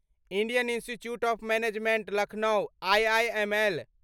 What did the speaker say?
Indian institute of management Lucknow IIML